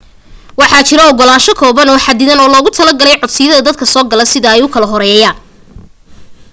waxaa jiro ogalaansho kooban oo xadidan oo loogu talagalay codsiyada dadka soo gala sida ay u kala horeeyaan